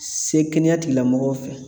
Se kɛnɛya tigilamɔgɔw fɛ